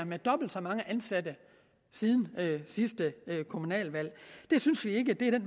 med dobbelt så mange ansatte siden sidste kommunalvalg det synes vi ikke er